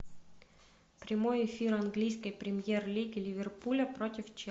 прямой эфир английской премьер лиги ливерпуля против челси